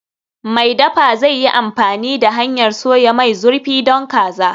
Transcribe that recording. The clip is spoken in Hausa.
Mai dafa zai yi amfani da hanyar soya mai zurfi don kaza.